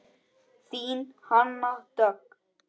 Þín Hanna Dögg.